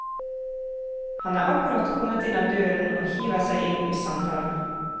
Han er akkurat kommet inn av døren og hiver seg inn i samtalen.